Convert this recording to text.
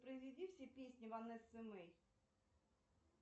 произведи все песни ванессы мэй